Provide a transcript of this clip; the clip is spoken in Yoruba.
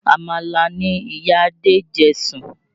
Àmàlà ni ìyá Adé jẹ sùn